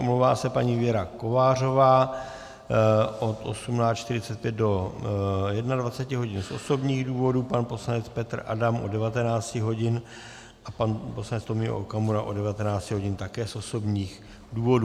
Omlouvá se paní Věra Kovářová od 18.45 do 21.00 hodin z osobních důvodů, pan poslanec Petr Adam od 19.00 hodin a pan poslanec Tomio Okamura od 19.00 hodin také z osobních důvodů.